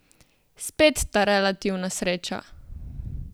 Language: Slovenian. Spet ta relativna sreča!